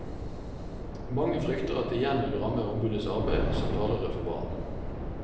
Mange frykter at det igjen vil ramme ombudets arbeid som talerør for barn.